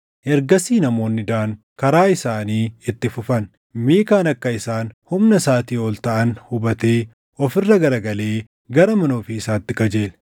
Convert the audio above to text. Ergasii namoonni Daan karaa isaanii itti fufan; Miikaan akka isaan humna isaatii ol taʼan hubatee of irra garagalee gara mana ofii isaatti qajeele.